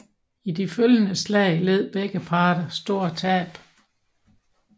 I de følgende slag led begge parter store tab